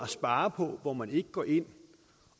spare på hvor man ikke går ind